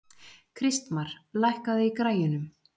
Kristmar, lækkaðu í græjunum.